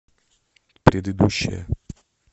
предыдущая